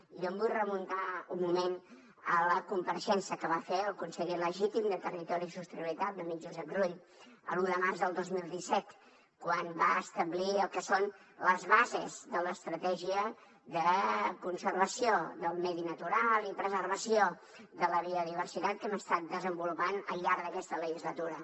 i jo em vull remuntar un moment a la compareixença que va fer el conseller legítim de territori i sostenibilitat l’amic josep rull l’un de març del dos mil disset quan va establir el que són les bases de l’estratègia de conservació del medi natural i preservació de la diversitat que hem estat desenvolupant al llarg d’aquesta legislatura